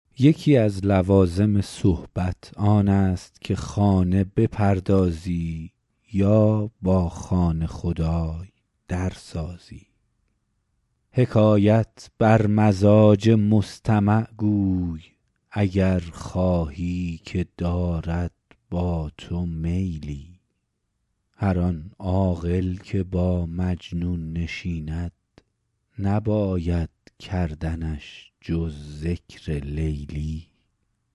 یکی از لوازم صحبت آن است که خانه بپردازی یا با خانه خدای در سازی حکایت بر مزاج مستمع گوی اگر خواهی که دارد با تو میلی هر آن عاقل که با مجنون نشیند نباید کردنش جز ذکر لیلی